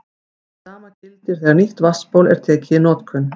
Hið sama gildir þegar nýtt vatnsból er tekið í notkun.